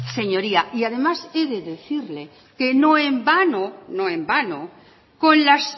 señoría y además he de decirle que no en vano no en vano con las